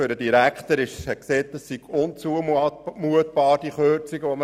Der Direktor war der Meinung, diese Kürzungen seien unzumutbar.